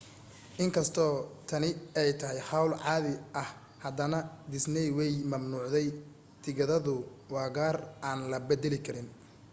in kastoo tani ay tahay hawl caadi ah haddana disney way mamnuucday tigidhadu waa qaar aan la beddeli karin